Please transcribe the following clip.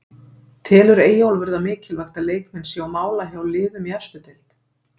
Telur Eyjólfur það mikilvægt að leikmenn séu á mála hjá liðum í efstu deild?